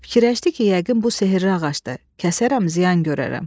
Fikirləşdi ki, yəqin bu sehirli ağacdır, kəsərəm, ziyan görərəm.